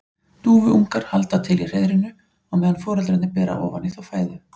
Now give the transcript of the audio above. Dúfuungar halda til í hreiðrinu á meðan foreldrarnir bera ofan í þá fæðu.